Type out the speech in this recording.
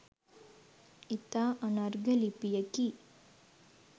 ඉතා අනර්ඝ ලිපියකි.